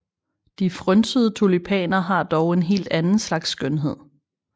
De frynsede tulipaner har dog en helt anden slags skønhed